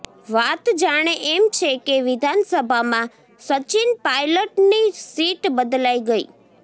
વાત જાણે એમ છે કે વિધાનસભામાં સચિન પાયલટની સીટ બદલાઈ ગઈ